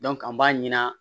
an b'a ɲin'a